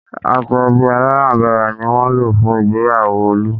Aṣọ ẹbí alárànbarà ni wọ́n lò fún ìgbéyàwó Olú